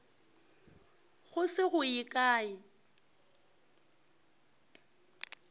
go se go ye kae